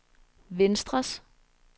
venstres